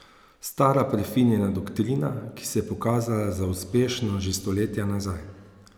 Stara prefinjena doktrina, ki se je pokazala za uspešno že stoletja nazaj.